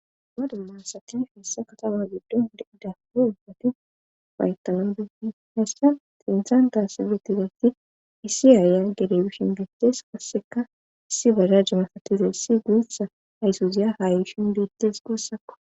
Madalansakifeessa katawa giddon deida uo ubfati bayttanan beenin hessa xirinthan taasibetizati issi aaya gerewishin beettes kasseka issi bara jamafatiza issi guutha haysuziya haayishin beettes guussakko